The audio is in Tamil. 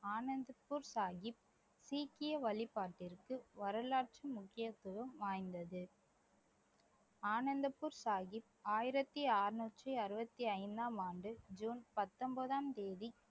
ஆனந்த்பூர் சாஹிப் சீக்கிய வழிபாட்டிற்கு வரலாற்றின் முக்கியத்துவம் வாய்ந்தது ஆனந்தபூர் சாஹிப் ஆயிரத்தி அறுநூற்றி அறுபத்தி ஐந்தாம் ஆண்டு ஜூன் பத்தொன்பதாம் தேதி